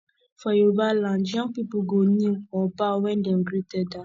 for yoruba land young people go kneel or bow when dem greet elder